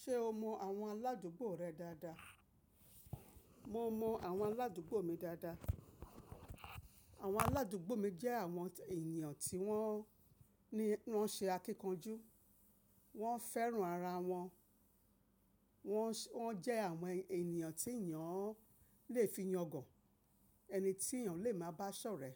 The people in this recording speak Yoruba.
Ṣé o mọ àwọn aládùúgbò rẹ dáadáa? Mo mọ àwọn aládùúgbò mi dáadáa. Àwọn aládùgbò mi jẹ́ àwọn ènìyàn tí wọ́n ni wọ́n ṣe akíkanjú, wọ́n fẹ́ràn ara wọn, wọ́n jẹ àwọn ènìyàn tí ènìyàn lè fi yàn gàn, ẹni tí ènìyàn lè máa bá sọ̀rẹ́.